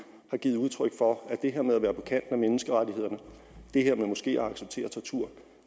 har givet udtryk for at det her med at være på kant med menneskerettighederne det her med måske at acceptere tortur